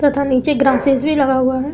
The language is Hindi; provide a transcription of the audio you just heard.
तथा नीचे ग्रासेस भी लगा हुआ हैं।